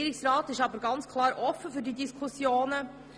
Der Regierungsrat ist offen für diese Diskussionen.